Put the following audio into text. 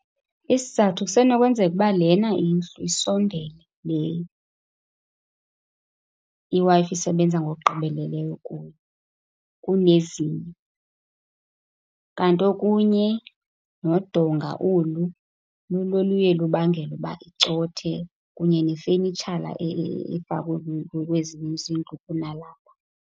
Isizathu kusenokwenzeka ukuba lena indlu isondele, le iWi-Fi isebenza ngokugqibeleleyo kuyo kunezinye. Kanti okunye nodonga olu, lulo oluye lubangele ukuba icothe, kunye nefenitshala efakwe kwezinye izindlu kunalapha.